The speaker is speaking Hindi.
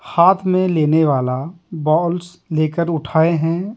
हाथ में लेने वाला बॉल्स लेकर उठाए हैं।